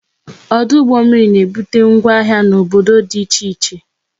Ọdụ ụgbọ mmiri na ebute ngwa ahịa n'obodo dị iche iche